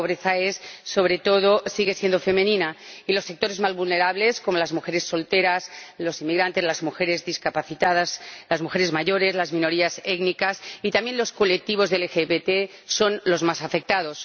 La pobreza es —sigue siendo— sobre todo femenina, y los sectores más vulnerables, como las mujeres solteras, los inmigrantes, las mujeres discapacitadas, las mujeres mayores, las minorías étnicas y también los colectivos de LGBT son los más afectados.